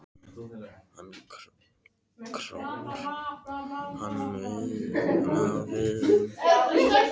Hún króar hann af við rúmgaflinn.